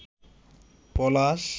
পলাশ